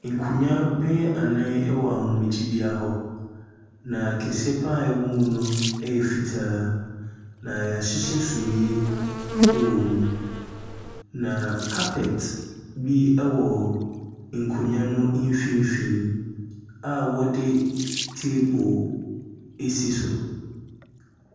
Nkonwa bɛyɛ anan wɔ ahomegyebea hɔ na kɛseɛ paa ɛwɔ mu no ɛyɛ fitaa na yɛahyehyɛ sumiɛ ɛwɔ mu. Na carpet bi ɛwɔ nkonwa no mfimfin a wɔde table ɛsi so.